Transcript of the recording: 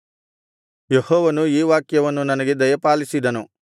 ಯೆಹೋವನು ಈ ವಾಕ್ಯವನ್ನು ನನಗೆ ದಯಪಾಲಿಸಿದನು